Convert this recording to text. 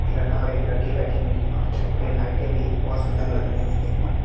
एक लड़का और एक लड़की बैठी हुई है और छत पे लाइटें भी बहोत सुंदर लग रही है देखने में--